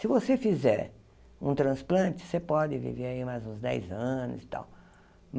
Se você fizer um transplante, você pode viver aí mais uns dez anos e tal.